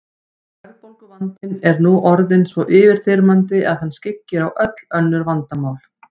Verðbólguvandinn er nú orðinn svo yfirþyrmandi að hann skyggir á öll önnur vandamál.